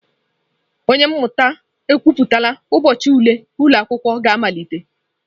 Onye isi mmụta ekwuputala ụbọchị ule ụlọ akwụkwọ ga-amalite.